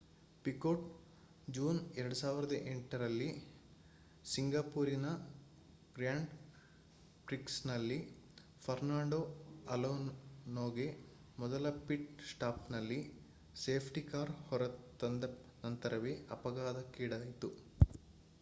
ಪಿಕೊಟ್ ಜೂ 2008 ರಲ್ಲಿ ಸಿಂಗಪೂರಿನ ಗ್ರ್ಯಾಂಡ್ ಪ್ರಿಕ್ಸ್ನಲ್ಲಿ ಫರ್ನಾಂಡೋ ಅಲೋನೋಗೆ ಮೊದಲ ಪಿಟ್ ಸ್ಟಾಪ್ನಲ್ಲಿ ಸೇಫ್ಟಿ ಕಾರ್ ಹೊರತಂದ ನಂತರವೇ ಅಪಘಾತಕ್ಕಿಡಾಯಿತು